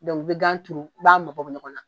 i bɛ gan tuuru i b'a mabɔ ɲɔgɔn na.